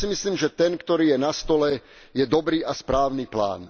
Ja si myslím, že ten, ktorý je na stole, je dobrý a správny plán.